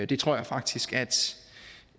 det tror jeg faktisk